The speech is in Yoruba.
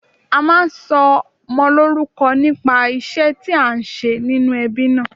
A máa ń sọmọ lórúko nípa ìṣé tí a n ṣe nínú ebí náà